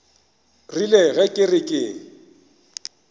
rile ge ke re ke